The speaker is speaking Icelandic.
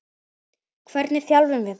Hvernig þjálfum við það?